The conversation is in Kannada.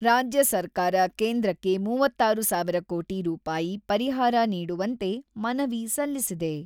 ರಾಜ್ಯ ಸರ್ಕಾರ ಕೇಂದ್ರಕ್ಕೆ ಮೂವತ್ತಾರು ಸಾವಿರ ಕೋಟಿ ರೂಪಾಯಿ ಪರಿಹಾರ ನೀಡುವಂತೆ ಮನವಿ ಸಲ್ಲಿಸಿದೆ.